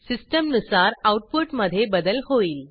सिस्टीमनुसार आऊटपुटमधे बदल होईल